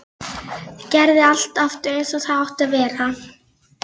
Gerði allt aftur eins og það átti að vera.